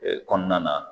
Ee kɔnɔna na